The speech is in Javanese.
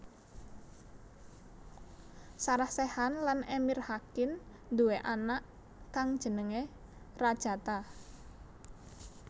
Sarah Sechan lan Emir Hakin nduwé anak kang jenéngé Rajata